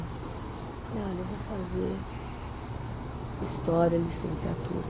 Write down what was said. Eu falei, olha, eu vou fazer história, licenciatura.